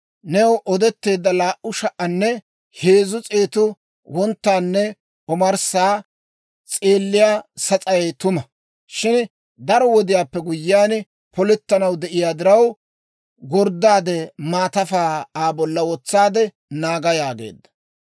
«New odetteedda laa"u sha"anne heezzu s'eetu wonttaanne omarssa s'eelliyaa sas'ay tuma; shin daro wodiyaappe guyyiyaan polettanaw de'iyaa diraw, gorddaade maatafaa Aa bolla wotsaade naaga» yaageedda.